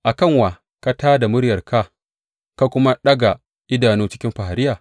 A kan wa ka tā da muryarka ka kuma daga idanu cikin fariya?